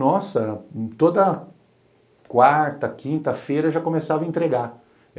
Nossa, toda quarta, quinta-feira já começava a entregar.